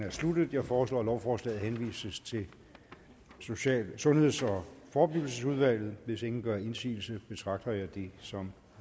er sluttet jeg foreslår at lovforslaget henvises til sundheds og forebyggelsesudvalget hvis ingen gør indsigelse betragter jeg det som